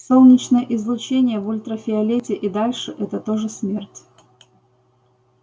солнечное излучение в ультрафиолете и дальше это тоже смерть